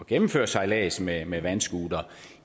gennemføre sejlads med med vandscootere